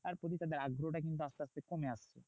প্রতি তাদের আগ্রহ টা কিন্তু আসতে আসতে কমে আসছে।